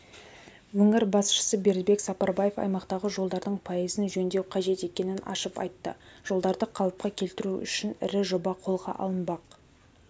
өңір басшысы бердібек сапарбаев аймақтағы жолдардың пайызын жөндеу қажет екенін ашып айтты жолдарды қалыпқа келтіру үшін ірі жоба қолға алынбақ